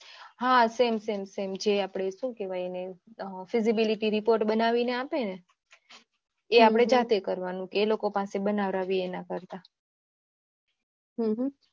હા same same જે આપણે શું કેવાય એને feasibility report બનાવી ને આપવાનું એ આપણે જાતે બનાવાનું એ લોકો પાસે બનાવીયે એના કરતા હમ્મ